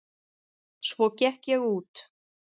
Svo gekk ég út.